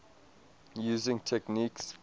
using techniques